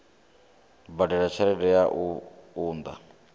badela tshelede ya u unḓa